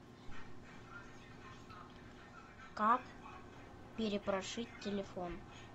как перепрошить телефон